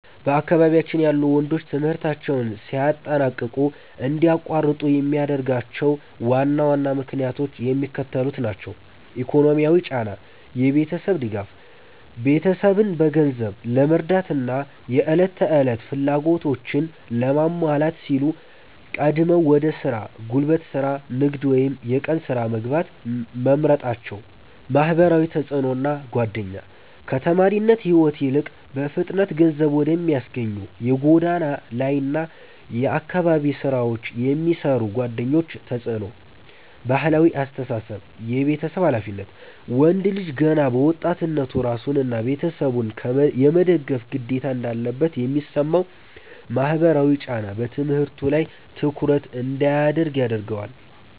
በአካባቢያችን ያሉ ወንዶች ትምህርታቸውን ሳያጠናቅቁ እንዲያቋርጡ የሚያደርጓቸው ዋና ዋና ምክንያቶች የሚከተሉት ናቸው፦ ኢኮኖሚያዊ ጫና (የቤተሰብ ድጋፍ)፦ ቤተሰብን በገንዘብ ለመርዳትና የዕለት ተዕለት ፍላጎቶችን ለማሟላት ሲሉ ቀድመው ወደ ሥራ (ጉልበት ሥራ፣ ንግድ ወይም የቀን ሥራ) መግባት መምረጣቸው። ማህበራዊ ተጽዕኖና ጓደኛ፦ ከተማሪነት ሕይወት ይልቅ በፍጥነት ገንዘብ ወደሚያስገኙ የጎዳና ላይና የአካባቢ ሥራዎች የሚስቡ ጓደኞች ተጽዕኖ። ባህላዊ አስተሳሰብ (የቤተሰብ ኃላፊነት)፦ ወንድ ልጅ ገና በወጣትነቱ ራሱንና ቤተሰቡን የመደገፍ ግዴታ እንዳለበት የሚሰማው ማህበራዊ ጫና በትምህርቱ ላይ ትኩረት እንዳያደርግ ያደርገዋል።